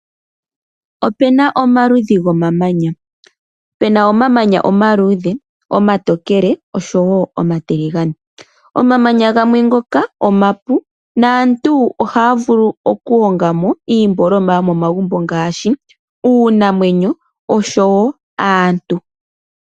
Opu na omaludhi gomamanya. Pu na omamanya omaluudhe, omatokele noshowo omatiligane. Omamanya gamwe ngoka omapu naantu ohaya vulu okuhonga mo iiyopaleki yomomagumbo ngaashi: uunamwenyo oshowo aantu.